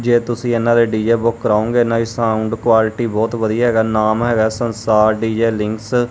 ਜੇ ਤੁਸੀਂ ਇਹਨਾਂ ਦੇ ਡੀਜੇ ਬੁੱਕ ਕਰਾਉਗੇ ਇਨਾ ਹੀ ਸਾਊਂਡ ਕੁਆਲਿਟੀ ਬਹੁਤ ਵਧੀਆ ਹੈਗਾ ਨਾਮ ਹੈਗਾ ਸੰਸਾਰ ਡੀ ਜੇ ਲਿੰਗਸ ।